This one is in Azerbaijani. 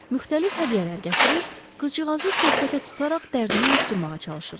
Müxtəlif hədiyyələr gətirir, qızcığazı söhbətə tutaraq dərdini unutdurmağa çalışırdılar.